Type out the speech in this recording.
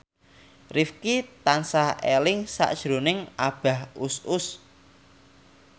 Rifqi tansah eling sakjroning Abah Us Us